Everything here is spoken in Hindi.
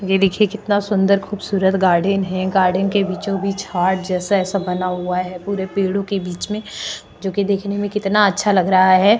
ये देखिये कितना सुंदर खूबसूरत गार्डन है गार्डन के बीचो बीच हार्ट जैसा ऐसा बना हुआ है पूरे पेड़ोंके बीचमें जोकि देखने में कितना अच्छा लग रहा है।